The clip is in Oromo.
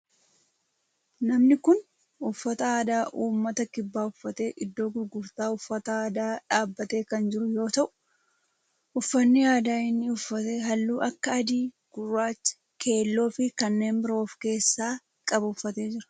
Namni kun uffata aadaa ummata kibbaa uffatee iddoo gurgurtaa uffata aadaa dhaabbatee kan jiru yoo ta'u uffanni aadaa inni uffate halluu akka adii, gurraacha, keelloo fi kanneen biroo of keessaa qabu uffatee jira.